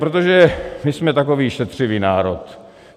Protože my jsme takový šetřivý národ.